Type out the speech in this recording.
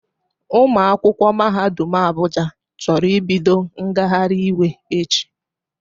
Ụmụ akwụkwọ mahadum Abuja chọrọ ibido ngagharị iwe echi